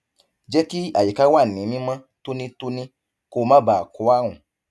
jẹ kí àyíká wà ní mímọ tónítóní kó má bàa kó àrùn